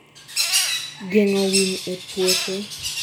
geng'o winy ee puothe